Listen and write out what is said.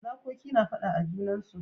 Zakoki na fada a junansu.